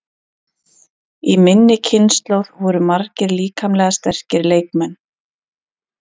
Í minni kynslóð voru margir líkamlega sterkir leikmenn.